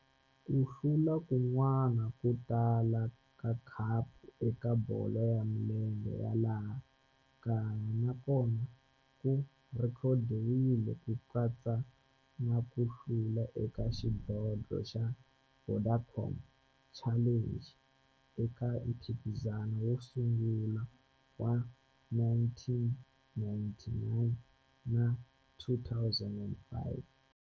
Ku hlula kun'wana ko tala ka khapu eka bolo ya milenge ya laha kaya na kona ku rhekhodiwile, ku katsa na ku hlula ka xidlodlo xa Vodacom Challenge eka mphikizano wo sungula wa 1999 na 2005.